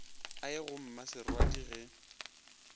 a ye go mmaserwadi ge